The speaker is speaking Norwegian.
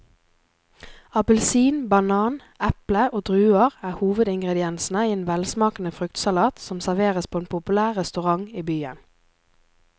Appelsin, banan, eple og druer er hovedingredienser i en velsmakende fruktsalat som serveres på en populær restaurant i byen.